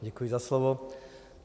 Děkuji za slovo.